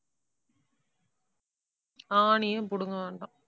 ஆணியே புடுங்க வேண்டாம்.